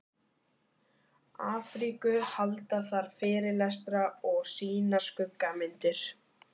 Afríku, halda þar fyrirlestra og sýna skuggamyndir.